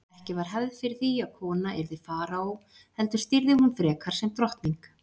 Ekki var hefð fyrir því að kona yrði faraó heldur stýrði hún frekar sem drottning.